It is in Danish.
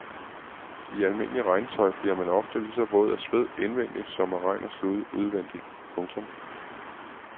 I almindeligt regntøj bliver man ofte lige så våd af sved indvendigt som af regn og slud udvendigt. punktum